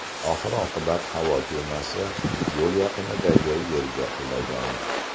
Oxir-oqibat havo kemasi yo‘l yaqinidagi yerga qulagan.